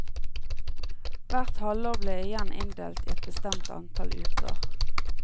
Hvert halvår ble igjen inndelt i et bestemt antall uker.